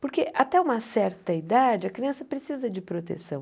Porque até uma certa idade, a criança precisa de proteção.